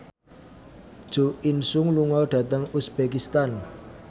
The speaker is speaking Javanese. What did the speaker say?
Jo In Sung lunga dhateng uzbekistan